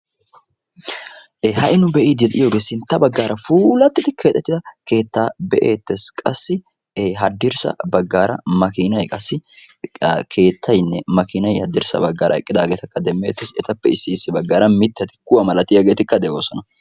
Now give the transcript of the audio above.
Ha'i nu be'iidi de'iyoogee sintta baggaara puulatiidi keexettida keettaa be'eettees. qassi hadirssa baggaara maakinay qassi keettayinne maakinay haddirssa baggaara eqqidagetakka demeettes. etappe ya baggaara mittati kuwa malatiyaagetikka de'oosona.